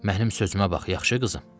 Mənim sözümə bax, yaxşı qızım.